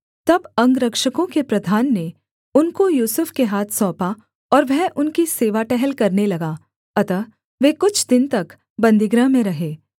तब अंगरक्षकों के प्रधान ने उनको यूसुफ के हाथ सौंपा और वह उनकी सेवाटहल करने लगा अतः वे कुछ दिन तक बन्दीगृह में रहे